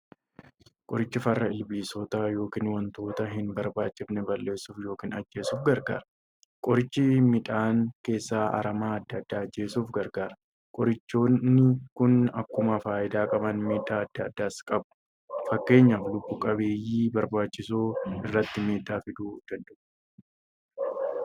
Qorichi farra ilbiisota yookiin wantoota hin barbaachifne balleessuuf yookiin ajjeesuuf gargaara. Qoricha midhaan keessaa aramaa adda addaa ajjeesuuf gargaara. Qorichooni Kun akkuma faayidaa qaban miidhaa adda addaas qabu. Fakkeenyaf lubbu qabeeyyii barbaachisoo irratti miidhaa fiduu danda'u.